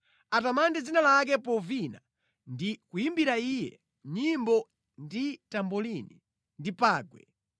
Atamande dzina lake povina ndi kuyimbira Iye nyimbo ndi tambolini ndi pangwe.